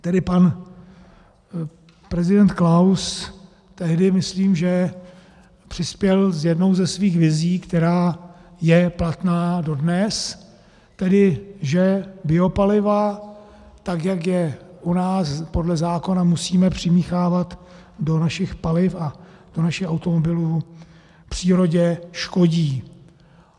Tedy pan prezident Klaus tehdy, myslím, že přispěl s jednou ze svých vizí, která je platná dodnes, tedy že biopaliva, tak jak je u nás podle zákona musíme přimíchávat do našich paliv a do našich automobilů, přírodě škodí.